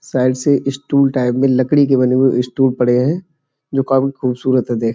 side से stool type में लकड़ी के बने स्टूल पड़े हैं जो काफी खूबसूरत हैं देख --